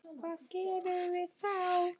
Hvað gerum við þá?